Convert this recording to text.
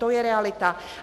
To je realita.